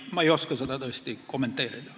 Ma ei oska seda tõesti kommenteerida.